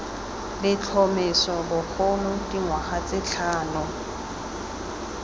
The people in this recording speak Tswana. letlhomeso bogolo dingwaga tse tlhano